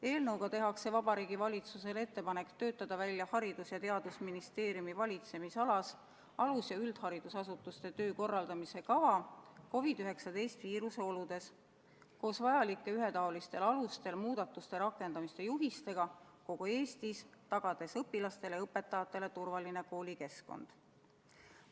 Eelnõuga tehakse Vabariigi Valitsusele ettepanek töötada välja Haridus- ja Teadusministeeriumi valitsemisalas alus- ja üldharidusasutuste töö korraldamise kava COVID-19 viiruse oludes koos vajalike, ühetaolistel alustel muudatuste rakendamise juhistega kogu Eestis, tagades õpilastele ja õpetajatele turvaline koolikeskkond.